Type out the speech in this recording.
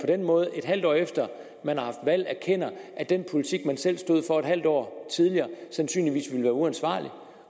den måde et halvt år efter man har haft valg erkender at den politik man selv stod for et halvt år tidligere sandsynligvis vil være uansvarlig